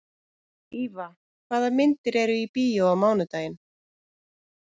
Íva, hvaða myndir eru í bíó á mánudaginn?